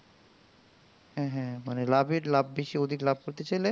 মানে লাভের লাভ বেশি লাভ করতে চাইলে